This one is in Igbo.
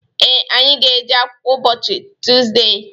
Ee, anyị ga-eje akwụkwọ ụbọchị Tuzde.